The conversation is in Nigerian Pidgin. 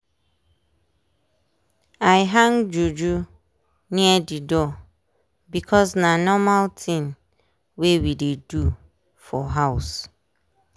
i hang juju near the door because na normal tin wey we dey do for house.